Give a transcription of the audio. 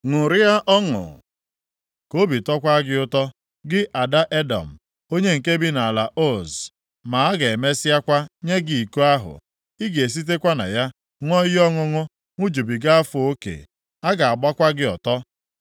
Ṅụrịa ọṅụ, ka obi tọkwaa gị ụtọ, gị ada Edọm, onye nke bi nʼala Uz. Ma a ga-emesịakwa nye gị iko ahụ. Ị ga-esitekwa na ya ṅụọ ihe ọṅụṅụ ṅụjụbiga afọ oke. A ga-agbakwa gị ọtọ.